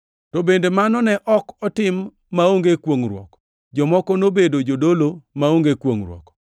To bende mano ne ok otim maonge kwongʼruok! Jomoko nobedo jodolo maonge kwongʼruok,